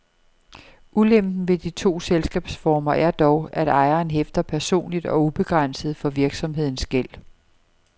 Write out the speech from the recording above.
Ulempen ved de to selskabsformer er dog, at ejeren hæfter personligt og ubegrænset for virksomhedens gæld.